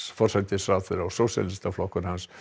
forsætisráðherra og Sósíalistaflokkur hans